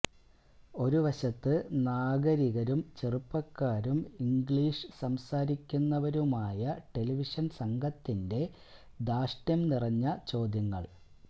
ഒരു വശത്ത് നാഗരികരും ചെറുപ്പക്കാരും ഇംഗ്ലീഷ് സംസാരിക്കുന്നവരുമായ ടെലിവിഷന് സംഘത്തിന്റെ ധാര്ഷ്ട്യം നിറഞ്ഞ ചോദ്യങ്ങള്